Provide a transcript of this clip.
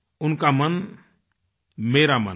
उनका मन मेरा मन है